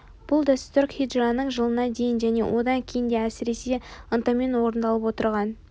бұл дәстүр хиджраның жылына дейін және онан кейін де әсіресе ынтамен орындалып отырған